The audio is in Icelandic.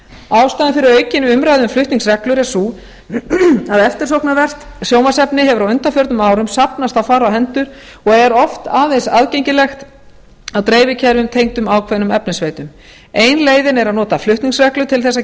ástæðan fyrir aukinni umræðu um flutningsreglur er sú að eftirsóknarvert sjónvarpsefni hefur á undaförnum árum safnast á fárra hendur og er oft aðeins aðgengilegt á dreifikerfum tengdum ákveðnum efnisveitum ein leiðin er að nota flutningsreglur til þess að